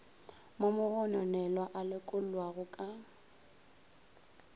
mo mogononelwa a lokollwago ka